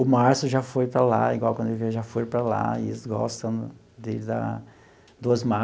O Márcio já foi para lá, igual quando ele, já foi para lá, e eles gostam dele lá, do Osmar.